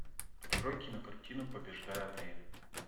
открой кинокартину побеждая время